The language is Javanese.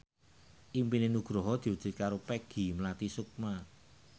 impine Nugroho diwujudke karo Peggy Melati Sukma